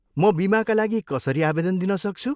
म बिमाका लागि कसरी आवेदन दिन सक्छु?